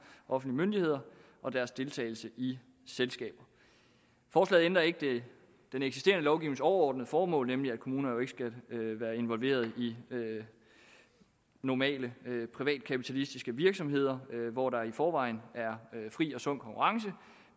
offentlige myndigheder og deres deltagelse i selskaber forslaget ændrer ikke ved den eksisterende lovgivnings overordnede formål nemlig at kommuner jo ikke skal være involveret i normale privatkapitalistiske virksomheder hvor der i forvejen er fri og sund konkurrence